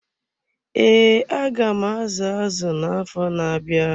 Ee, aga m azu azụ na-afọ na-abịa.